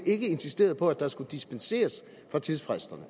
ikke insisteret på at der skulle dispenseres fra tidsfristerne